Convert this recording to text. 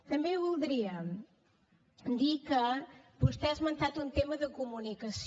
també voldria dir que vostè ha esmentat un tema de comunicació